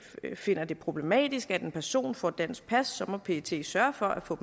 finder det problematisk at en person får dansk pas må pet sørge for at få